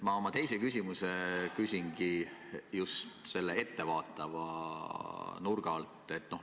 Ma oma teise küsimuse küsin ettevaatava nurga alt.